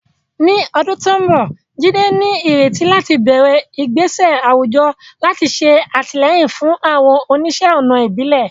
Ní ọdún tó ń bọ̀, Jide ní ìrètí láti bẹ̀rẹ̀ ìgbésẹ̀ àwùjọ láti ṣe àtìlẹ́yìn fún àwọn oníṣẹ́-ọnà ìbílẹ̀.